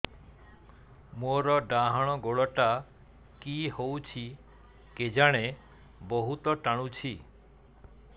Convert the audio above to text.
ମୋର୍ ଡାହାଣ୍ ଗୋଡ଼ଟା କି ହଉଚି କେଜାଣେ ବହୁତ୍ ଟାଣୁଛି